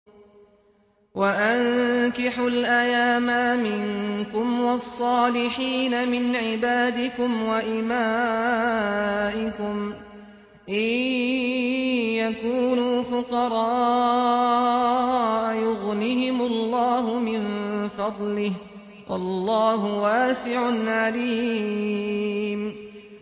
وَأَنكِحُوا الْأَيَامَىٰ مِنكُمْ وَالصَّالِحِينَ مِنْ عِبَادِكُمْ وَإِمَائِكُمْ ۚ إِن يَكُونُوا فُقَرَاءَ يُغْنِهِمُ اللَّهُ مِن فَضْلِهِ ۗ وَاللَّهُ وَاسِعٌ عَلِيمٌ